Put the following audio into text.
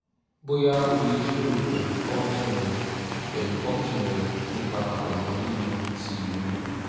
boya o le jiroro pẹlu obgyn rẹ pẹlu obgyn rẹ nipa ọna yiyan ti iloyun